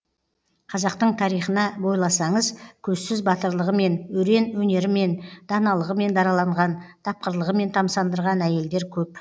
қазақтың тарихына бойласаңыз көзсіз батырлығымен өрен өнерімен даналығымен дараланған тапқырлығымен тамсандырған әйелдер көп